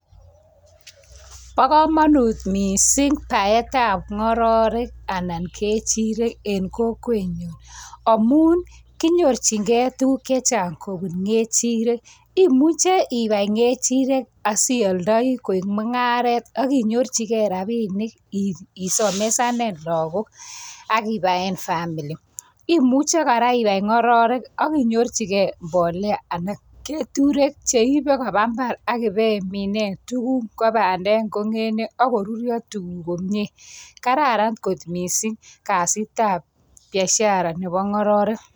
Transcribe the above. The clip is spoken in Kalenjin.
Pa kamanut missing' paet ap ng'ororek anan kechirek en kokwenyun amun konyorchigei tuguuk che chabg" kopun kechirek. Imuchi ipai kechirek asialdai koik mung'aret asinyorchige rapinik isomeshane lagok ak ipae family. Imuchi kora ipai ng'ororik ak inyorchigei mbolea anan ko keturek che iipe kopa mbar ak ipimine tuguk kou pandek, ak korurya tuguk komye. Kararan kot missing' kasit ap biashara nepo ng'ororek.